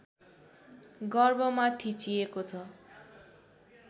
गर्भमा थिचिएको छ